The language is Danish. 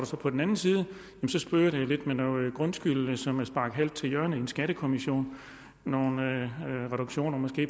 står på den anden side at det spøger lidt med noget grundskyld som er sparket halvt til hjørne i en skattekommission nogle reduktioner